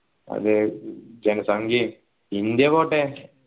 അതെ ജന സംഘ്യയും ഇന്ത്യ പോട്ടെ